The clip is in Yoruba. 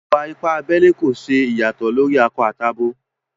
Ìwà-ìpà àbèlè kò ṣè iyàsòtò lórí akọ̀ tabi àbọ.